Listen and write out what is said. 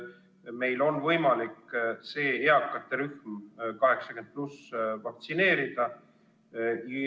Meil on võimalik eakate rühm 80+ vaktsineerida.